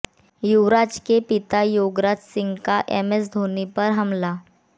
युवराज के पिता योगराज सिंह का एमएस धोनी पर हमला